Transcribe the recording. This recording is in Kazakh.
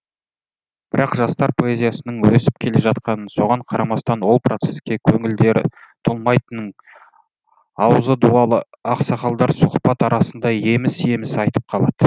бірақ жастар поэзиясының өсіп келе жатқанын соған қарамастан ол процеске көңілдері толмайтынын аузы дуалы ақсақалдар сұхбат арасында еміс еміс айтып қалады